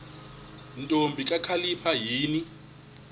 ntombi kakhalipha yini